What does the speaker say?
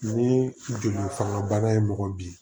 Ni joli fanga bana ye mɔgɔ bin